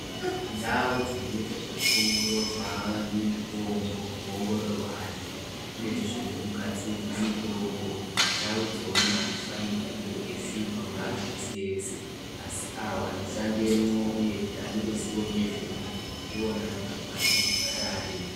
Ndau dzinoite zvekuongororwa mitombo, kuongororwa antu uyezve nekugadzirwe mitombo ndau idzona adzifanirwi kunge dzeisvikwa neantu ese ese asi awo anoshandemwo uyezve ane ruziwo ngezvemwo ndiwona antu anofanirwa kugara arimwo.